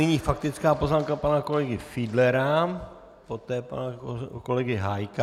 Nyní faktická poznámka pana kolegy Fiedlera, poté pana kolegy Hájka.